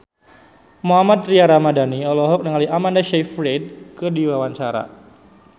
Mohammad Tria Ramadhani olohok ningali Amanda Sayfried keur diwawancara